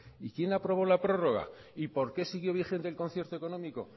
y quién aprobó la prorroga y por qué siguió vigente el concierto económico